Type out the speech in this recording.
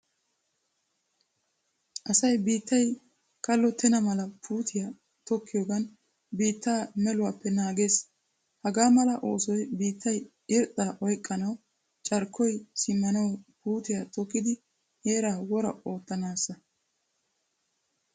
Asay biittaay kallotena mala puutiyaa tokkiyogan biittaa meeluwappe naagees. Hagaa mala oosoy biittay irxxa oyqqanawu carkkoy simmanawu puutiyaa tokkidi heeraa woraa oottanasa.